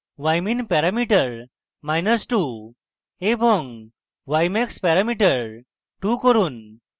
ymin parameter minus 2 এবং ymax parameter 2 করুন